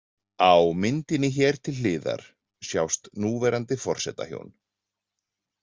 Á myndinni hér til hliðar sjást núverandi forsetahjón.